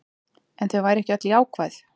En þau væru ekki öll jákvæð